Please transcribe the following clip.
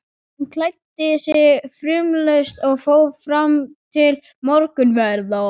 Hann klæddi sig fumlaust og fór fram til morgunverðar.